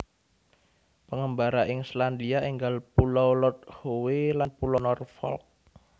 Pengembara ing Selandia enggal Pulau Lord Howe lan Pulau Norfolk